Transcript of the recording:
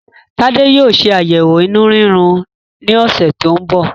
Tade yóò ṣe ayẹwo inú riro ní ọsẹ tí ń bọ̀